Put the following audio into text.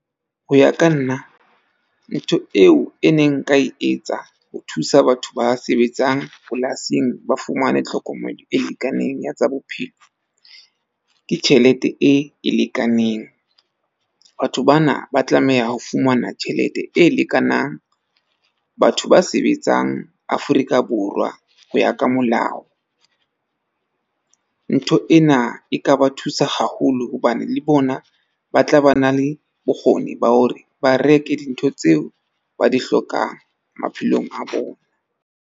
Ho ya ka nna ntho eo e neng nka e etsa ho thusa batho ba sebetsang polasing ba fumane tlhokomelo e lekaneng ya tsa bophelo. Ke tjhelete e lekaneng, batho bana ba tlameha ho fumana tjhelete e lekanang, batho ba sebetsang Afrika Borwa ho ya ka molao. Ntho ena e ka ba thusa haholo. Hobane le bona ba tla ba na le bokgoni ba hore ba reke dintho tseo ba di hlokang maphelong a bona.